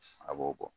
A b'o bɔ